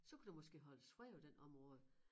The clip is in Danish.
Så kunne der måske holdes fred på den område